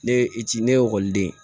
Ne ye i c ne ye ekɔliden